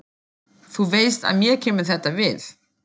Þú veist að mér kemur þetta við.